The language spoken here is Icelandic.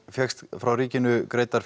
fékkst frá ríkinu greiddar